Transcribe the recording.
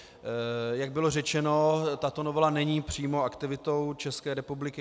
Jak bylo řečeno, tato novela není přímo aktivitou České republiky.